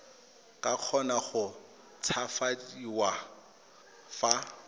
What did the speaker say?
ka kgona go tshabafadiwa fa